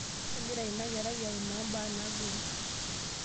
Kegira ina kerai aimaa imbaa naagoli.